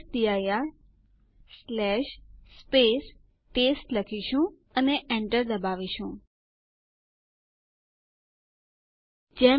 સુ નો મતલબ સ્વિચ યુઝર છે